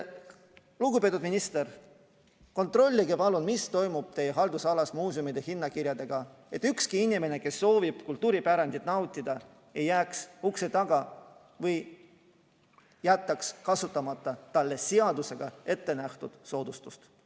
Lugupeetud minister, kontrollige palun, mis toimub teie haldusalas muuseumide hinnakirjadega, et ükski inimene, kes soovib kultuuripärandit nautida, ei jääks ukse taha või ei jätaks kasutamata talle seadusega ettenähtud soodustust.